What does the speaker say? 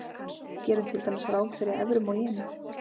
gerum til dæmis ráð fyrir evrum og jenum